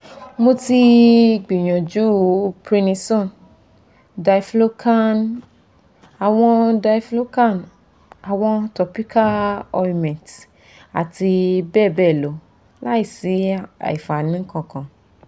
mo ti gbìyànjú prednisone diflucan àwọn diflucan àwọn topical ointment àti bẹ́ẹ̀ bẹ́ẹ̀ lọ láìsí àfààní kankan